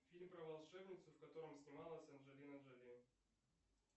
фильм про волшебницу в котором снималась анджелина джоли